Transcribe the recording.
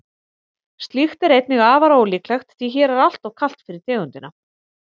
slíkt er einnig afar ólíklegt því hér er alltof kalt fyrir tegundina